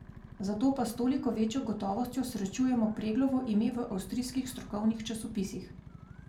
Zato pa s toliko večjo gotovostjo srečujemo Preglovo ime v avstrijskih strokovnih časopisih.